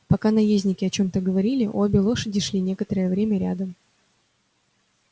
пока наездники о чём-то говорили обе лошади шли некоторое время рядом